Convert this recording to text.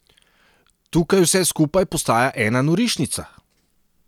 Tukaj vse skupaj postaja ena norišnica!